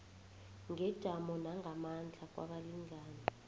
ngejamo nangamandla kwabalingani